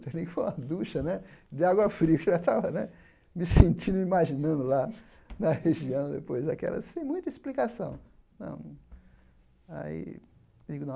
Tomei foi uma ducha né de água fria, eu já estava né me sentindo imaginando lá na região depois daquela, sem muita explicação não. Aí digo não